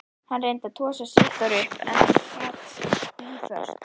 Hann reyndi að tosa Sigþóru upp en hún sat blýföst.